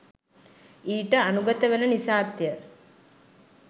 ඊට අනුගත වන නිසාත් ය.